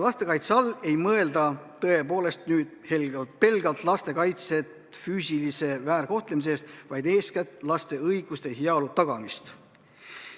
Lastekaitse all ei mõelda pelgalt laste kaitset füüsilise väärkohtlemise eest, vaid eeskätt laste õiguste ja heaolu tagamist.